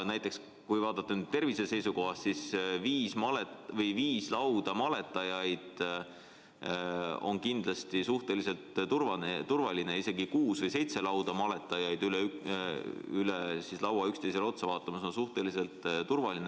Ja kui vaadata tervise seisukohast, siis viis lauda maletajaid on kindlasti suhteliselt turvaline keskkond, isegi kuus või seitse lauda maletajaid üle laua üksteisele otsa vaatamas on suhteliselt turvaline.